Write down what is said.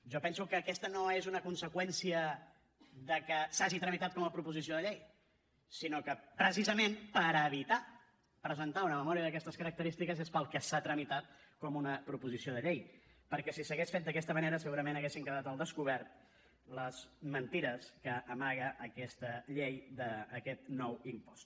jo penso que aquesta no és una conseqüència de que s’hagi tramitat com a proposició de llei sinó que precisament per evitar presentar una memòria d’aquestes característiques és pel que s’ha tramitat com una proposició de llei perquè si s’hagués fet d’aquesta manera segurament haguessin quedat al descobert les mentides que amaga aquesta llei d’aquest nou impost